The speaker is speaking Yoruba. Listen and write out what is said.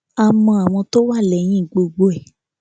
a mọ àwọn tó wà lẹyìn gbogbo ẹ